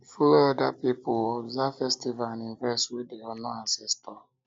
follow oda pipo observe festivals and events wey dey honor ancestor